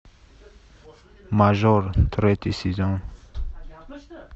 мажор третий сезон